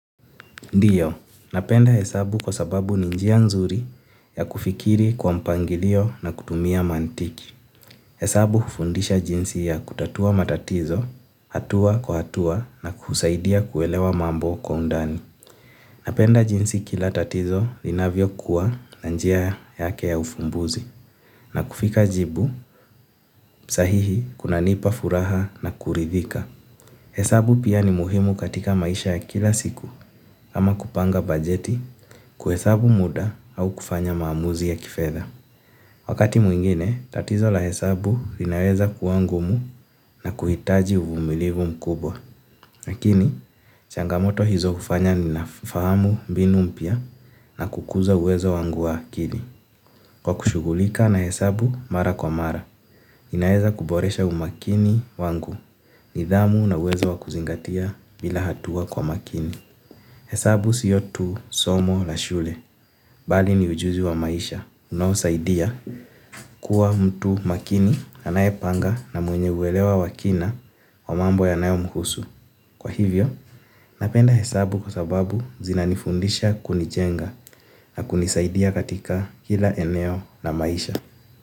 Ndio, napenda hesabu kwa sababu ni njia nzuri ya kufikiri kwa mpangilio na kutumia mantiki. Hesabu hufundisha jinsi ya kutatua matatizo, hatua kwa hatua na kusaidia kuelewa mambo kwa undani. Napenda jinsi kila tatizo linavyokuwa na njia yake ya uvumbuzi. Na kufika jibu, sahihi kunanipa furaha na kuridhika. Hesabu pia ni muhimu katika maisha ya kila siku. Ama kupanga bajeti, kuhesabu muda au kufanya maamuzi ya kifedha. Wakati mwingine, tatizo la hesabu inaweza kuwa ngumu na kuhitaji uvumilivu mkubwa. Lakini, changamoto hizo hufanya ninafahamu mbinu mpya na kukuza uwezo wangu wa akili. Kwa kushughulika na hesabu mara kwa mara, ninaweza kuboresha umakini wangu, nidhamu na uwezo wa kuzingatia bila hatua kwa makini. Hesabu sio tu somo la shule, bali ni ujuzi wa maisha, unaosaidia kuwa mtu makini anayepanga na mwenye uelewa wa kina wa mambo yanaomhusu. Kwa hivyo, napenda hesabu kwa sababu zinanifundisha kunijenga na kunisaidia katika kila eneo la maisha.